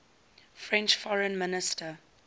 french foreign minister